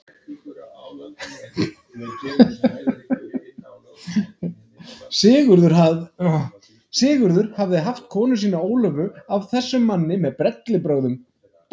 Sigurður hafði haft konu sína Ólöfu af þessum manni með bellibrögðum.